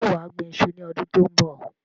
Ṣé wà á gbín ìṣu ní ọdún tó ń bọ̀?